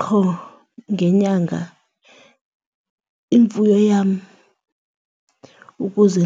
Qho ngenyanga imfuyo yam ukuze ,